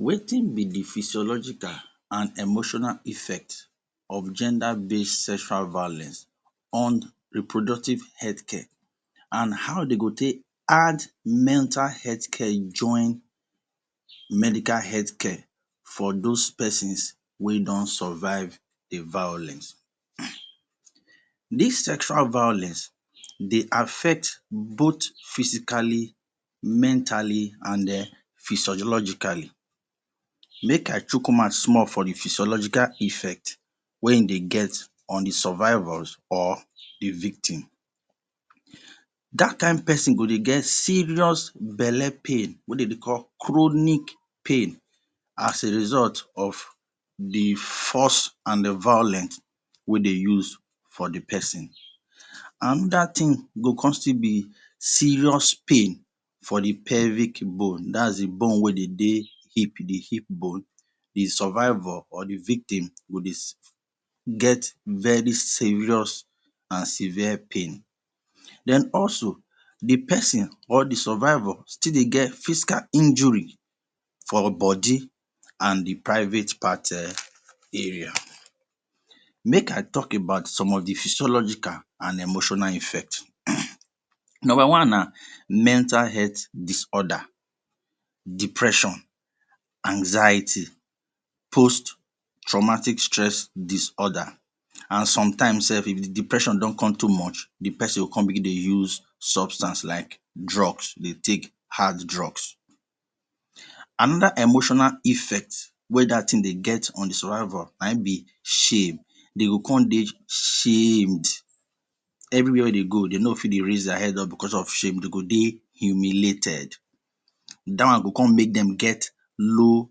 Wetin be the physiological and emotional effect of gender base sexual violence on reproductive health care and how dey go take add metal health care join medical health care for those persons wey don survive the violence. This sexual violence dey affect both physically, mentally and er physiologically. Make I chook mouth small for the physiologically effect wey e they get on the survivors or the victim that kind person go dey get serious bele pain wey them dey call chronic pain as a result of the force and violence wey dey use for the person another thing go come still be serious pain for the pelvic bone dat is the bone wey dey dey the hip the hip borne the survivor or the victim go dey get very serious and severe pain then also the person or the survivor still dey get physical injury for bodi and the private part er area. Make I talk about some of the physiological and emotional effect Number one na: mental health disorder, depression, anxiety, post traumatic stress disorder and some time sef if the depression don too much, the person go come dey use substance like drugs, dey take hard drugs. Another emotional effect wey that thing dey get on the survivor na in be shame, dey go come dey shame. Any where wey dey go dey no fit dey raise their head up because of shame, dey go dey humiliated that one go come make them get low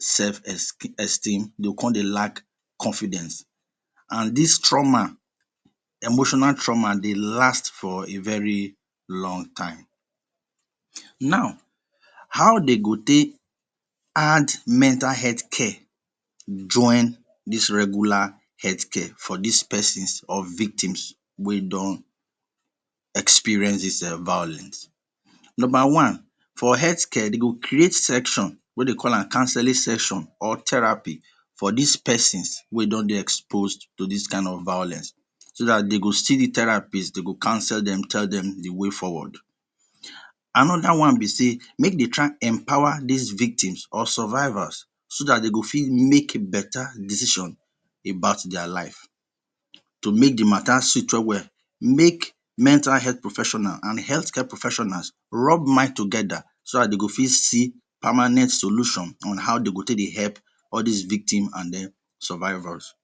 self-esk esteem, they go come dey lack confidence and this trauma, emotional trauma dey last for a very long time. Now how them go take add mental health care join this regular healthcare for this persons or victims wey don experience this eh violence Number one: for healthcare them go create section wey dem call am counselling section or therapy for this persons wey don dey expose to this kind of violence so that them go see the therapist dem go counsel them tell them the way forward. Another one be sey make dem try empower this victims, survivor so that dem go fit make better decision about their life. To make the matter sweet well-well make mental health professionals and health care professionals rub mind together so that dey go fit see permanent solution on how they go take dey help all these victim and them survivors